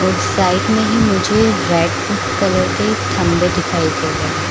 और साइड में ही मुझे ब्राइटनेस कलर के खम्भे दिखाई दे रहै है।